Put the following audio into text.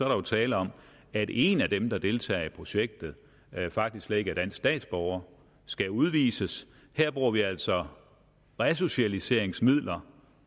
der jo tale om at en af dem der deltager i projektet faktisk slet ikke er dansk statsborger og skal udvises her bruger vi altså resocialiseringsmidler